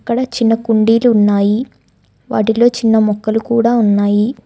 ఇక్కడ చిన్న కుండీలు ఉన్నాయి వాటిలో చిన్న మొక్కలు కూడా ఉన్నాయి.